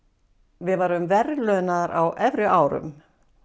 við værum verðlaunaðar á efri árum